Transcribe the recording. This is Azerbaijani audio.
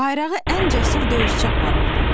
Bayrağı ən cəsur döyüşçü aparırdı.